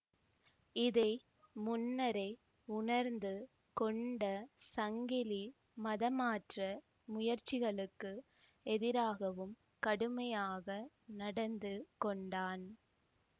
இதை முன்னரே உணர்ந்து கொண்ட சங்கிலி மதமாற்ற முயற்சிகளுக்கு எதிராகவும் கடுமையாக நடந்து கொண்டான்